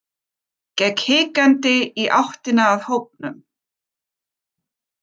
Gekk hikandi í áttina að hópnum.